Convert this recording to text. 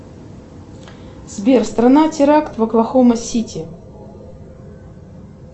сбер страна теракт в оклахома сити